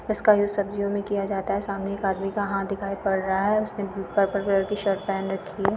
इसका यूज सर्दियों में किया जाता है। सामने एक आदमी का हाथ दिखाई पड़ रहा हैउसने ब्लू पर्पल कलर की शर्ट पहन रखी है।